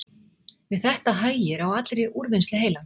við þetta hægir á allri úrvinnslu heilans